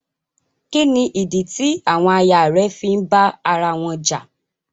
Kí nídí tí àwọn àyà rẹ̀ fí ń bá ara wọn jà?